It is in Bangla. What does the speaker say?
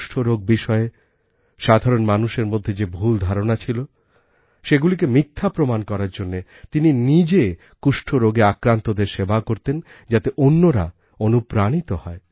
কুষ্ঠ রোগ বিষয়ে সাধারণ মানুষের মধ্যে যে ভুল ধারণা ছিল সেগুলিকে মিথ্যা প্রমাণ করার জন্য তিনি নিজে কুষ্ঠ রোগে আক্রান্তদের সেবা করতেন যাতে অন্যরা অনুপ্রাণিত হয়